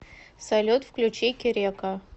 салют включи керека